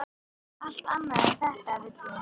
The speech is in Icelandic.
Allt annað en þetta vill hún.